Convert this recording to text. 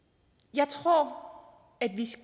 jeg tror